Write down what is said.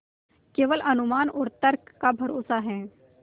केवल अनुमान और तर्क का भरोसा है